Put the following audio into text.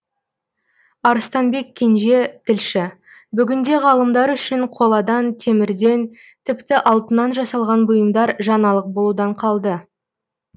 арыстанбек кенже тілші бүгінде ғалымдар үшін қоладан темірден тіпті алтыннан жасалған бұйымдар жаңалық болудан қалды